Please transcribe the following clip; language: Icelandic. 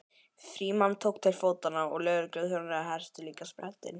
Frímann tók til fótanna og lögregluþjónarnir hertu líka sprettinn.